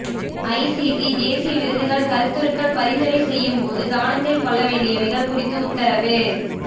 ஐ C T தேசிய விருதுகள் கருத்துருக்கள் பரிந்துரை செய்யும் பொது கவனத்தில் கொள்ள வேண்டியவைகள் குறித்து உத்தரவு